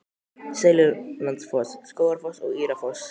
Seljalandsfoss, Skógafoss og Írárfoss.